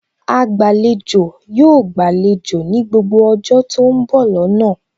Agbàlejò yóò gbàlejò ní gbogbo ọjọ́ tó ń bọ̀ lọ́nà